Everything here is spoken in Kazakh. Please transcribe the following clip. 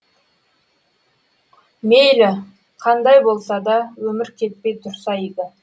мейлі қандай болса даөмір кетпей тұрса игі